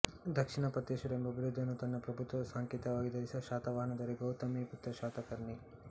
ದಕ್ಷಿಣ ಪಥೇಶ್ವರ ಎಂಬ ಬಿರುದ್ದನ್ನು ತನ್ನ ಪ್ರಭುತ್ವದ ಸಂಕೇತವಾಗಿ ಧರಿಸಿದ್ದ ಶಾತವಾಹನ ದೊರೆ ಗೌತಮಿಪುತ್ರ ಶಾತಕರ್ಣಿ